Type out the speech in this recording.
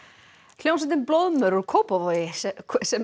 hljómsveitin blóðmör frá Kópavogi sem